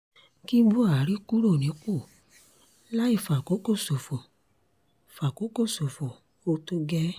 kí buhari kúrò nípò láì fàkókò ṣòfò fàkókò ṣòfò ó tó gẹ́ẹ́